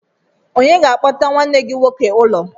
Onye ga-akpọta nwanne gị nwoke ụlọ?